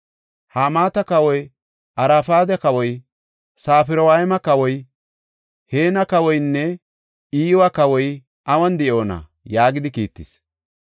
Hamaata kawoy, Arfada kawoy, Safarwayma kawoy, Heena kawoynne Iwa kawoy awun de7oona?” yaagidi kiittis.